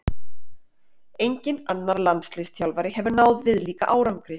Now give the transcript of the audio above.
Enginn annar landsliðsþjálfari hefur náð viðlíka árangri.